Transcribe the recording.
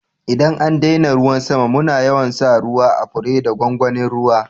ldan an daina ruwan sama muna yawan sa ruwa à fure da gwangwanin ruwa.